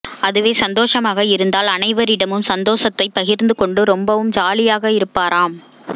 அதுவே சந்தோஷமாக இருந்தால் அனைவரிடமும் சந்தோசத்தை பகிர்ந்துகொண்டு ரொம்பவும் ஜாலியாக இருப்பாராம்